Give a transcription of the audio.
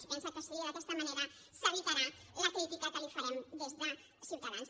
es pensa que així d’aquesta manera s’evitarà la crítica que li farem des de ciutadans